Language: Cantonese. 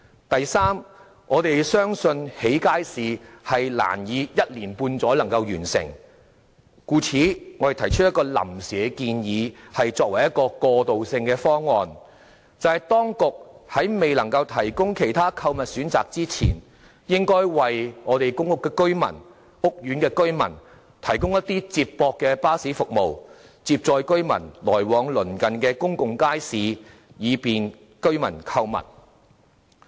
第三，我們相信興建街市難於一年半載內完成，故此我們提出一項臨時建議作為過渡性方案，便是當局在未能夠提供其他購物選擇前，應為公屋及屋苑居民提供接駁巴士服務，接載居民來往鄰近的公眾街市，以便居民購物。